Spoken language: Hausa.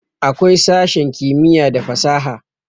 awkai sashen kimiyya da fasaha